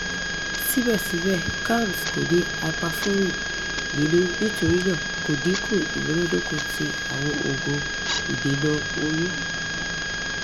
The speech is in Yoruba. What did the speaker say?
sibẹsibẹ kalms ko ni hyperforin ninu nitorinaa ko dinku imunadoko ti awọn oogun idena oyun